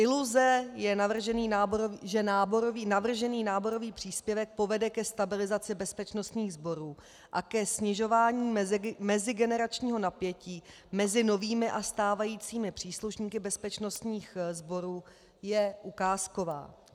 Iluze, že navržený náborový příspěvek povede ke stabilizaci bezpečnostních sborů a ke snižování mezigeneračního napětí mezi novými a stávajícími příslušníky bezpečnostních sborů, je ukázková.